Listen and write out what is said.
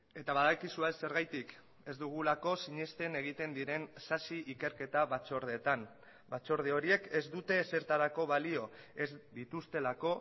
eta badakizue zergatik ez dugulako sinesten egiten diren sasi ikerketa batzordeetan batzorde horiek ez dute ezertarako balio ez dituztelako